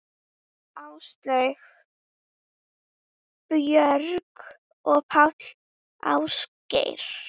Áslaug, Björg og Páll Ásgeir.